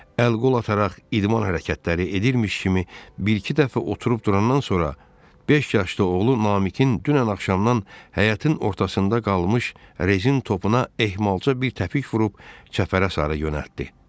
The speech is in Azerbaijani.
Əl-qol ataraq, idman hərəkətləri edirmiş kimi bir-iki dəfə oturub-durandan sonra, beş yaşlı oğlu Namiqin dünən axşamdan həyətin ortasında qalmış rezin topuna ehmalca bir təpik vurub çəpərə sarı yönəltdi.